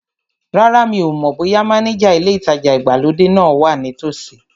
Rárá, mi ò mọ̀ bóyá mánéjà ilé ìtajà ìgbàlódé náà wa ní tòsí